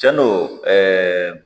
Cɛn don